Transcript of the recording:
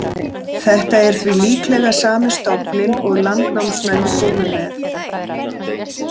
Þetta er því líklega sami stofninn og landnámsmenn komu með.